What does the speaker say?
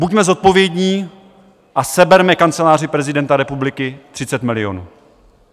Buďme zodpovědní a seberme Kanceláři prezidenta republiky 30 milionů.